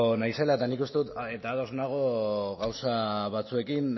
naizela eta ados nago gauza batzuekin